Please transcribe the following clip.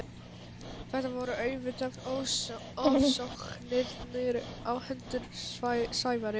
Þetta voru auðvitað ofsóknirnar á hendur Sævari.